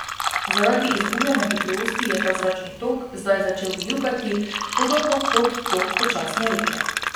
Zaradi izgubljanja hitrosti je ta zračni tok zdaj začel vijugati, podobno kot tok počasne reke.